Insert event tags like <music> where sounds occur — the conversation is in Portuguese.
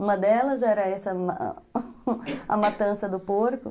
Uma delas era <laughs> <coughs> a matança do porco.